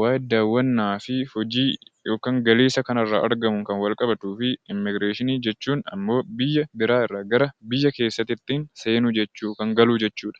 waa'ee daawwannaa fi hojii yookaan galii isa kanarraa argamu kan walitti qabatuu fi immigireeshinii jechuun ammoo biyya biraa irraa gara biyya keessatti ittiin seenu, kan galu jechuudha.